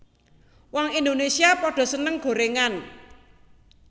Wong Indonesia podo seneng gorengan